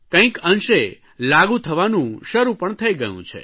કંઇક અંશે લાગુ થવાનું શરૂ પણ થઇ ગયું છે